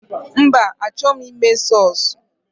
Mba, a chọghi m ime sọsụ.